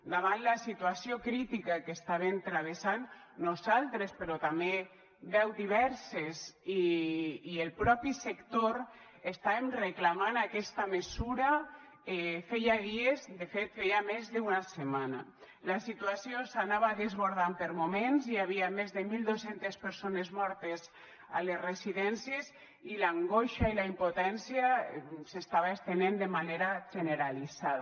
davant la situació crítica que estaven travessant nosaltres però també veus diverses i el propi sector estàvem reclamant aquesta mesura feia dies de fet feia més d’una setmana la situa ció s’anava desbordant per moments hi havia més de mil dos cents persones mortes a les residències i l’angoixa i la impotència s’estava estenent de manera generalitzada